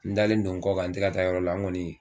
N dalen don n kɔ kan n tɛ ka taa yɔrɔ la n kɔni